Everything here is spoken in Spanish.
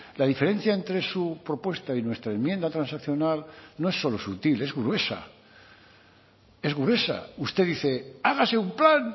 la diferencia entre su propuesta y nuestra enmienda transaccional no es solo sutil es gruesa es gruesa usted dice hágase un plan